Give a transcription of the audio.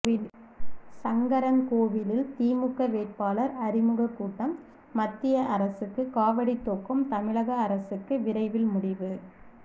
சங்கரன்கோவிலில் திமுக வேட்பாளர் அறிமுக கூட்டம் மத்திய அரசுக்கு காவடி தூக்கும் தமிழக அரசுக்கு விரைவில் முடிவு